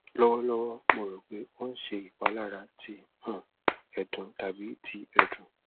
lọwọlọwọ mo ro pe o n ṣe ipalara ti um ẹdun tabi ti ẹdun